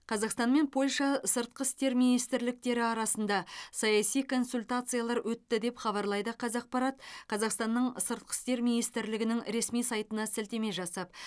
қазақстан мен польша сыртқы істер министрліктері арасында саяси консультациялар өтті деп хабарлайды қазапарат қазақстанның сыртқы істер министрлігінің ресми сайтына сілтеме жасап